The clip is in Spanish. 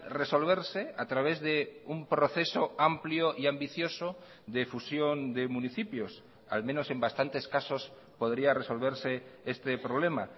resolverse a través de un proceso amplio y ambicioso de fusión de municipios al menos en bastantes casos podría resolverse este problema